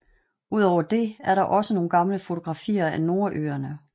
Udover det er der også nogle gamle fotografier af Nordøerne